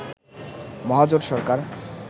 মহাজোট সরকার